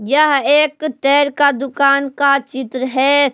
यह एक टैर का दुकान का चित्र है।